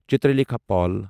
Chitralekha پول